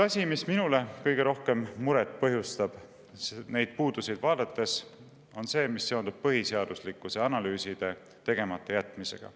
Asi, mis minule kõige rohkem muret põhjustab neid puudusi vaadates, on see, mis seondub põhiseaduslikkuse analüüside tegemata jätmisega.